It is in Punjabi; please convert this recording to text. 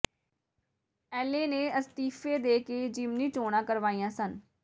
ਐੱਲ ਏ ਨੇ ਅਸਤੀਫੇ ਦੇ ਕੇ ਜਿਮਨੀ ਚੋਣਾਂ ਕਰਵਾਈਆਂ ਸਨ